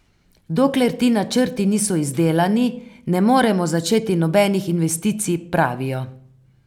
Dokler ti načrti niso izdelani, ne morejo začeti nobenih investicij, pravijo.